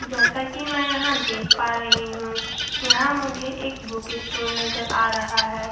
जैसा की मैं एह देख पा रही हु एह मुझे एक बुकी स्टोर नजर आ रहा है ।